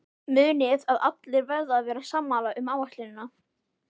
Munið að allir verða að vera sammála um áætlunina.